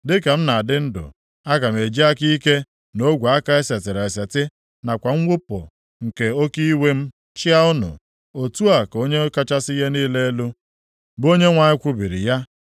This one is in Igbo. Dịka m na-adị ndụ, aga m eji aka ike na ogwe aka e setịrị eseti nakwa nwụpụ nke oke iwe m chịa unu, otu a ka Onye kachasị ihe niile elu, bụ Onyenwe anyị kwubiri ya.